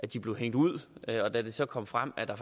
de blev hængt ud og da det så kom frem at der